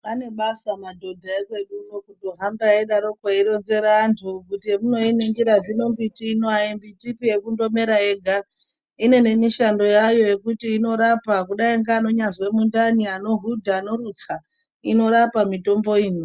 Anebasa madhodha ekwedu uno kutohamba eironzera antu kuti zvemunoiningira zvino mbiti ino haisi mbitiba inongomera yega. Ine nemishando yayo yekuti inorapa kudai neanyambozwe mundani, anohudha , anorutsa inorapa mitombo imwi.